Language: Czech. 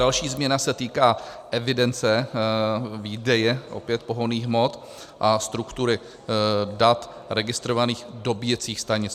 Další změna se týká evidence výdeje opět pohonných hmot a struktury dat registrovaných dobíjecích stanic.